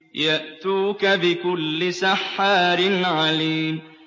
يَأْتُوكَ بِكُلِّ سَحَّارٍ عَلِيمٍ